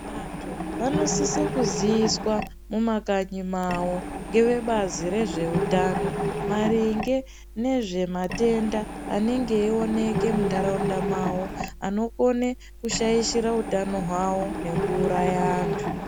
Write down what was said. Vantu vanosise kuziiswa mumakanyi mavo ngevebazi rezveutano. Maringe nezvematenda anenge eioneke muntaraunda mavo anokone kushaishira utano hwavo nekuuraya antu.